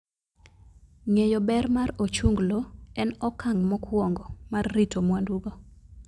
Ng'eyo ber mar ochunglo en okang' mokwongo mar rito mwandugo.